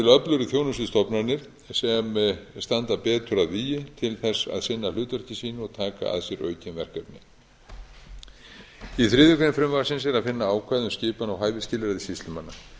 öflugri þjónustustofnanir sem standa betur að vígi til að sinna hlutverki sínu og taka að sér aukin verkefni í þriðju greinar frumvarpsins er að finna ákvæði um skipan og hæfisskilyrði sýslumanna